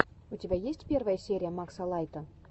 у тебя есть первая серия макса лайта